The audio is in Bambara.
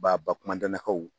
Babakumandannakaw